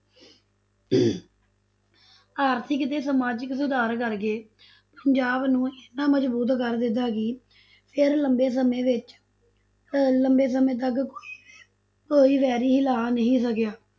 ਆਰਥਿਕ ਤੇ ਸਮਾਜਿਕ ਸੁਧਾਰ ਕਰਕੇ ਪੰਜਾਬ ਨੂੰ ਇੰਨਾ ਮਜਬੂਤ ਕਰ ਦਿਤਾ ਕਿ ਫਿਰ ਲੰਬੇ ਸਮੇ ਵਿੱਚ ਅਹ ਲੰਬੇ ਸਮੇਂ ਤੱਕ ਕੋਈ ਵੀ ਕੋਈ ਵੈਰੀ ਹਿਲਾ ਨਹੀ ਸਕਿਆ।